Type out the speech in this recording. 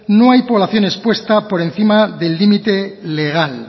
no hay población expuesta por encima del límite legal